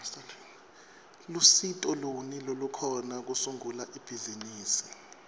lusito luni lolukhona kusungula ibhizimisi